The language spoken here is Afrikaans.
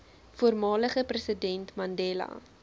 voormalige president mandela